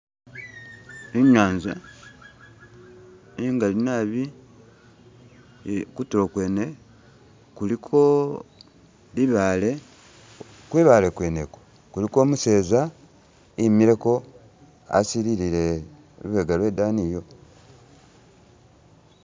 Inyanza ingali naabi, kutulo kwene kuliko libaale kwibaale kwene ikwo kuliko umuseza imileko asililile lubega lwe daani iyo.